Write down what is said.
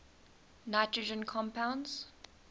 nitrogen compounds